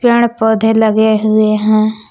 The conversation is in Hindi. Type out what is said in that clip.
पेड़ पौधे लगे हुए हैं।